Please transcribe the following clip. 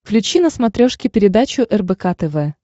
включи на смотрешке передачу рбк тв